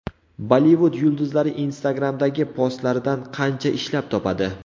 Bollivud yulduzlari Instagram’dagi postlaridan qancha ishlab topadi?.